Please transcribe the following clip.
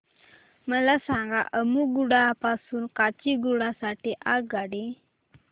मला सांगा अम्मुगुडा पासून काचीगुडा साठी आगगाडी